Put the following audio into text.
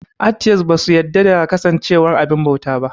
Atiyest ba su yarda da kasancewar abin bauta ba